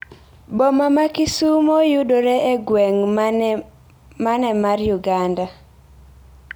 Boma ma Kisumo yudore e gweng' mane mar Uganda?